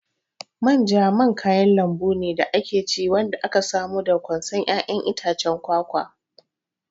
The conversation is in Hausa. Manja man kayan lambu ne da ake ci wanda aka samo daga ƙwansan ƴaƴan itacen kwakwa.